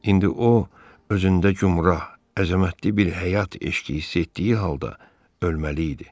İndi o özündə gümrah, əzəmətli bir həyat eşqi hiss etdiyi halda ölməli idi.